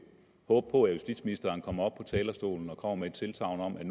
håbe på at justitsministeren kommer op på talerstolen og kommer med et tilsagn om at